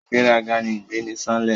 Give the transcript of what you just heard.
Ìgbéraga ni ìgbé ni sánlẹ̀